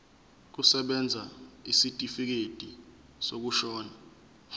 kusebenza isitifikedi sokushona